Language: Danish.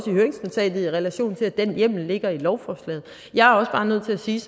i høringsnotatet i relation til at den hjemmel ligger i lovforslaget jeg er også bare nødt til at sige